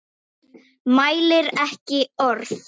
Mælir ekki orð.